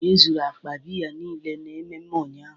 E zuru akpa biya niile n'ememme ụnyaahụ